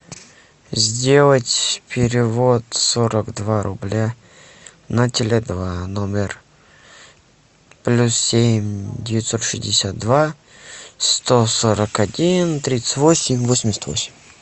сделать перевод сорок два рубля на теле два номер плюс семь девятьсот шестьдесят два сто сорок один тридцать восемь восемьдесят восемь